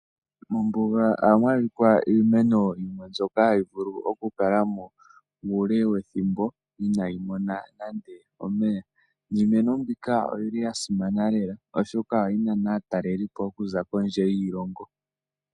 Mombuga ohamu adhika iimeno yimwe mbyoka hayi vulu oku kala mo uule wethimbo inaayimona nande omeya . Niimeno mbika oyili ya simana lela oshoka ohayi nana aatalelipo oku za kondje yiilongo.